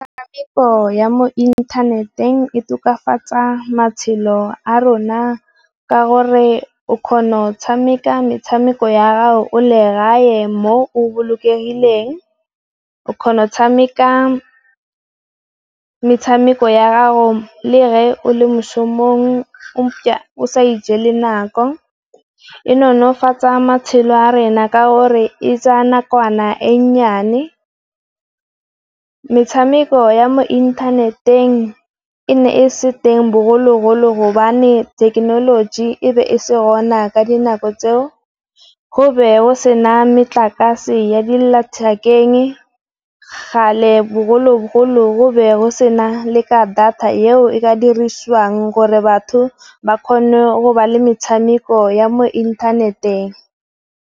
Metshameko ya mo inthaneteng e tokafatsa matshelo a rona ka gore o kgona go tshameka metshameko ya gago o le gae mo o bolokegileng. O kgona go tshameka metshameko ya go le re o le moshomong, o sa ijela nako, e nonofatsa matshelo a rena ka or e tsaya nakwana e nnyane, metshameko ya mo inthaneteng e ne e se teng bogologolo gobane thekenoloji e be e se gona ka dinako tseo. Go be o sena metlakase ya di lethekeng. Gale bogologolo go be go sena le ka data eo e ka dirisiwang gore batho ba kgone go ba le metshameko ya mo inthaneteng.